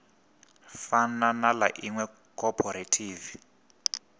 fana na ḽa iṅwe khophorethivi